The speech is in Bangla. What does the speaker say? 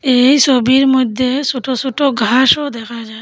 এই সবির মইদ্যে সটো সটো ঘাসও দেখা যায়।